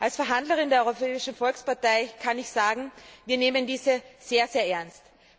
Als Verhandlerin der Europäischen Volkspartei kann ich sagen Wir nehmen dies sehr ernst.